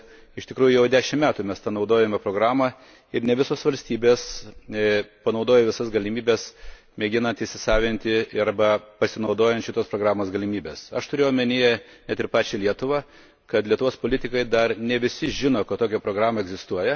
iš tikrųjų jau 10 metų mes tą programą naudojame, ir ne visos valstybės panaudoja visas galimybes mėginant įsisavinti arba pasinaudojant šitos programos galimybėmis. Aš turiu omenyje net ir pačią Lietuvą, kad Lietuvos politikai dar ne visi žino, kad tokia programa egzistuoja.